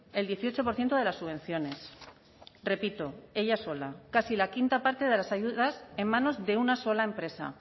el dieciocho por ciento de las subvenciones repito ella sola casi la quinta parte de las ayudas en manos de una sola empresa